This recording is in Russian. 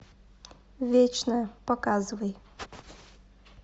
вечная показывай